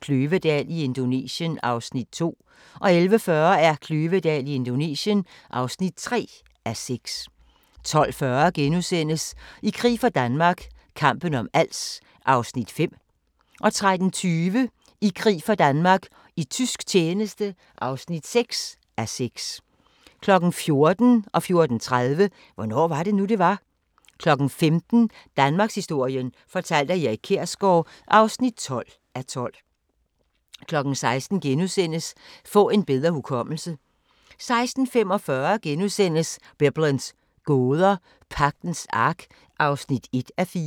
Kløvedal i Indonesien (2:6)* 11:40: Kløvedal i Indonesien (3:6) 12:40: I krig for Danmark – kampen om Als (5:6)* 13:20: I krig for Danmark - i tysk tjeneste (6:6) 14:00: Hvornår var det nu, det var? 14:30: Hvornår var det nu, det var? 15:00: Danmarkshistorien fortalt af Erik Kjersgaard (12:12) 16:00: Få en bedre hukommelse! * 16:45: Biblens gåder – Pagtens Ark (1:4)*